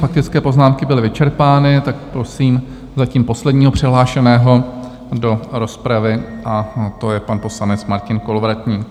Faktické poznámky byly vyčerpány, tak prosím zatím posledního přihlášeného do rozpravy a to je pan poslanec Martin Kolovratník.